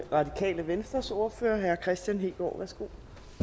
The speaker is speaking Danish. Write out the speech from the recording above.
radikale venstres ordfører herre kristian hegaard værsgo